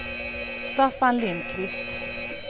Staffan Lindquist